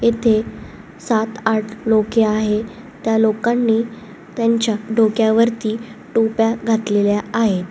इथे सात आठ लोके आहे त्या लोकांनी त्यांच्या डोक्यावरती टोप्या घातलेल्या आहेत.